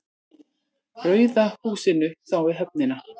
Rauða húsinu þá við höfnina.